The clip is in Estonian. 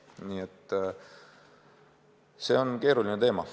Nii et see on keeruline teema.